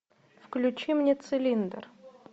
включи мне цилиндр